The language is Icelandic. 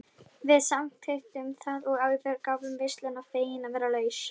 Við samþykktum það og yfirgáfum veisluna fegin að vera laus.